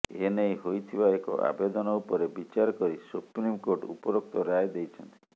ଏନେଇ ହୋଇଥିବା ଏକ ଆବେଦନ ଉପରେ ବିଚାର କରି ସୁପ୍ରିମକୋର୍ଟ ଉପରୋକ୍ତ ରାୟ ଦେଇଛନ୍ତି